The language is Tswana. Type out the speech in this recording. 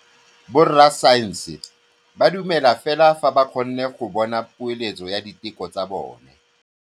Borra saense ba dumela fela fa ba kgonne go bona poeletsô ya diteko tsa bone.